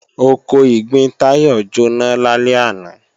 Oko ìgbín Táyọ̀ jóná lálẹ́ àná